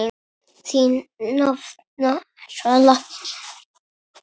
Þín nafna, Svala.